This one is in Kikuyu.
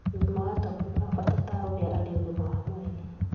ũgima wa tombo nĩ wa bata ta ũrĩa arĩ ũgima wa mwĩrĩ